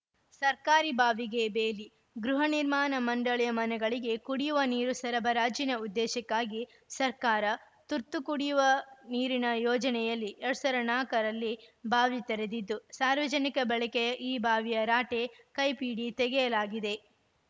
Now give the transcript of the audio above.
ಸರ್ಕಾರಿ ಬಾವಿಗೆ ಬೇಲಿ ಗೃಹ ನಿರ್ಮಾಣ ಮಂಡಳಿಯ ಮನೆಗಳಿಗೆ ಕುಡಿಯುವ ನೀರು ಸರಬರಾಜಿನ ಉದ್ದೇಶಕ್ಕಾಗಿ ಸರ್ಕಾರ ತುರ್ತು ಕುಡಿಯುವ ನೀರಿನ ಯೋಜನೆಯಲ್ಲಿ ಎರಡ್ ಸಾವಿರದ ನಾಲ್ಕರಲ್ಲಿ ಬಾವಿ ತೆರೆದಿದ್ದು ಸಾರ್ವಜನಿಕ ಬಳಕೆಯ ಈ ಬಾವಿಯ ರಾಟೆ ಕೈಪಿಡಿ ತೆಗೆಯಲಾಗಿದೆ